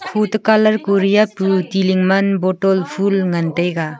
khoto colour kori apu ti ling man bottle fulngan taiga.